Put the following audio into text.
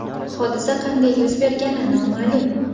Hodisa qanday yuz bergani noma’lum.